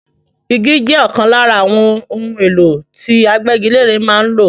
Igi jẹ́ ọ̀kan lára àwọn ohun èlò tí agbégilére máa ń lò.